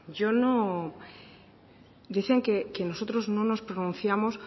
dicen que nosotros no nos pronunciamos